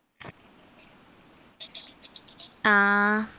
ആ